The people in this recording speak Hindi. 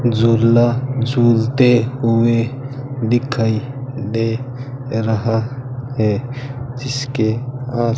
झूला झूलते हुए दिखाई दे रहा है जिसके --